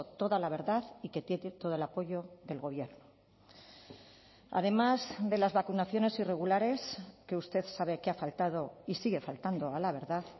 toda la verdad y que tiene todo el apoyo del gobierno además de las vacunaciones irregulares que usted sabe que ha faltado y sigue faltando a la verdad